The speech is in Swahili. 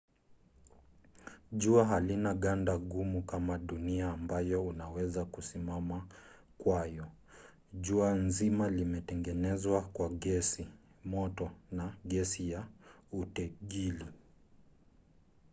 jua halina ganda gumu kama dunia ambayo unaweza kusimama kwayo. jua zima limetengenezwa kwa gesi moto na gesi ya utegili